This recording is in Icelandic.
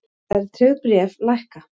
Verðtryggð bréf lækka